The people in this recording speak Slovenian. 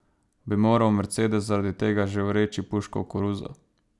Bi moral Mercedes zaradi tega že vreči puško v koruzo?